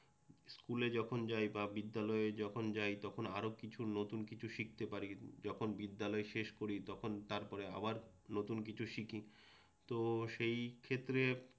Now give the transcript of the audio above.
স্কুলে যখন যাই বা বিদ্যালয়ে যখন যাই, তখন আরও কিছু নতুন কিছু শিখতে পারি। যখন বিদ্যালয় শেষ করি তখন তারপরে আবার নতুন কিছু শিখি তো সেই ক্ষেত্রে